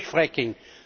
auch durch Fracking.